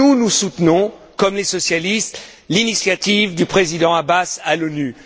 Nous, nous soutenons comme les socialistes, l'initiative du Président Abbas à l'ONU.